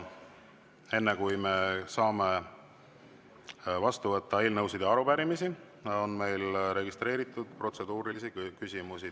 Enne, kui me saame vastu võtta eelnõusid ja arupärimisi, on meil registreeritud protseduurilisi küsimusi.